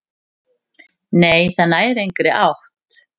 """Nei, það nær engri átt."""